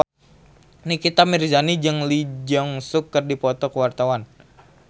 Nikita Mirzani jeung Lee Jeong Suk keur dipoto ku wartawan